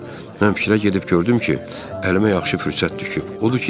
Mən fikrə gedib gördüm ki, əlimə yaxşı fürsət düşüb.